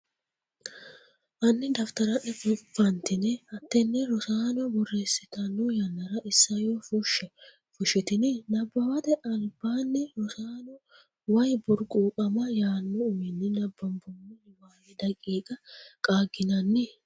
Hanni dafitara’ne fantine hattene Rosaano borreessitanno yannara isayyo fushshe? Fushitini? Nabbawate Albaanni Rosaano “Way Burquuqama” yaanno uminni nabbanbummo niwaawe daqiiqa qaagginanni?